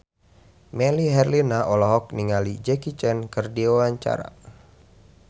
Melly Herlina olohok ningali Jackie Chan keur diwawancara